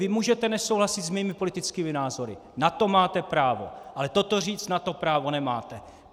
Vy můžete nesouhlasit s mými politickými názory, na to máte právo, ale toto říct, na to právo nemáte.